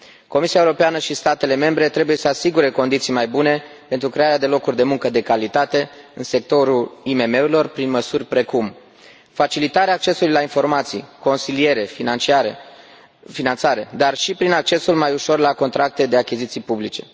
Comisia Europeană și statele membre trebuie să asigure condiții mai bune pentru crearea de locuri de muncă de calitate în sectorul IMM urilor, prin măsuri precum facilitarea accesului la informații, consiliere, finanțare, dar și prin accesul mai ușor la contracte de achiziții publice.